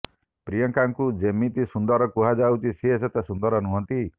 ପ୍ରିୟଙ୍କାଙ୍କୁ ଯେତିକି ସୁନ୍ଦର କୁହାଯାଉଛି ସେ ସେତେ ସୁନ୍ଦର ନୁହନ୍ତି